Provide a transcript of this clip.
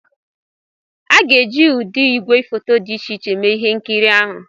A ga-eji ụdị igwefoto dị iche iche mee ihe nkiri ahụ